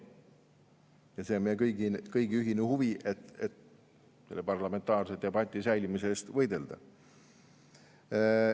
Ja see on meie kõigi ühine huvi, et parlamentaarse debati säilimise eest võidelda.